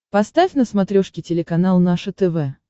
поставь на смотрешке телеканал наше тв